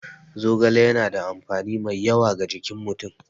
Zogale yana da amfani mai yawa ga jikin mutum.